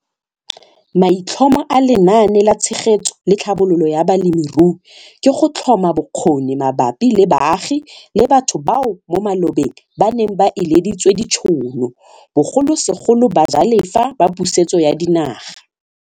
Maitlhomo a Lenaane la Tshegetso le Tlhabololo ya Balemirui ke go tlhoma bokgoni mabapi le baagi le batho bao mo malobeng ba neng ba ileditswe ditšhono, bogolosegolo bajalefa ba Pusetso ya Dinaga.